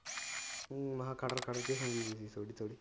ਹੰ ਮੈਂ ਕਿਹਾ